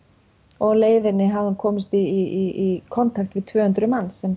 og á leiðinni hafði hún komist í kontakt við tvö hundruð manns sem